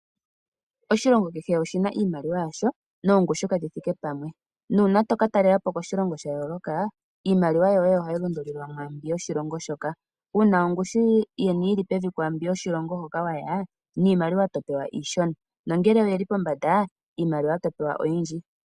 Oshilongo kehe oshi na oshimaliwa yasho noongushu kadhi thike pamwe. Nuuna to ka talela po koshilongo sha yooloka, iimaliwa yoye ohayi lundululiwa mwaa mbi yoshilongo shoka. Uuna ongushu yeni yi li pevi kwaambi yoshilongo hono wa ya, niimaliwa to pewa iishona nongele oye li pombanda, iimaliwa to pewa oyindji.